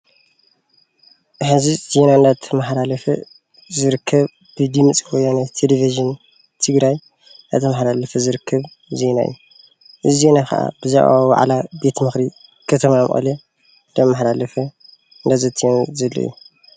ሕዚ ዜና እንዳተማሓላለፈ ዝርከብ ብድምፂ ወያነ ቴለቭዥን ትግራይ እንዳተማሓላለፈ ዝርከብ ዜና እዩ፡፡ እዚ ዜና ከዓ ብዛዕባ ዋዕላ ቤት ምክሪ ከተማ መቐለ እንዳመሓላለፈን እነዳዘተየን ዘሎ እዩ፡፡